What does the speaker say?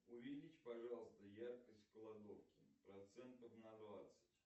увеличь пожалуйста яркость в кладовке процентов на двадцать